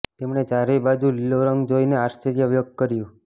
તેમણે ચારેય બાજુ લીલો રંગ જોઈને આશ્રર્ય વ્યક્ત કર્યું